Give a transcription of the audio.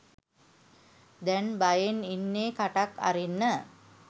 දැන් බයෙන් ඉන්නේ කටක් අරින්න